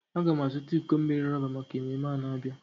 Agam a zuta iko mmiri roba maka ememe a na-abia.